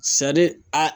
a